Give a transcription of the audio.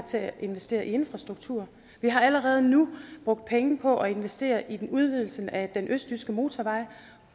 til at investere i infrastruktur vi har allerede nu brugt penge på at investere i udvidelsen af den østjyske motorvej